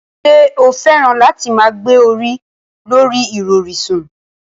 Ṣé o fẹ́ràn láti máa gbé orí lorí ìrọ̀rí sùn?